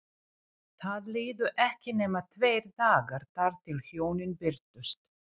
Það liðu ekki nema tveir dagar þar til hjónin birtust.